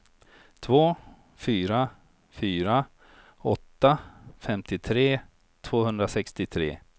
två fyra fyra åtta femtiotre tvåhundrasextiotre